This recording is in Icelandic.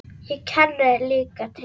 Ég kenni líka til.